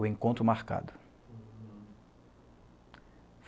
O Encontro Marcado.